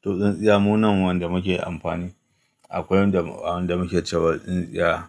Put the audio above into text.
Toh tsintsiya munan wanda muke amfani. Akwai wanda wanda muke cewa tsintsiya,